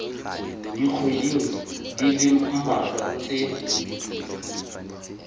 dikgweding di le mmalwa tse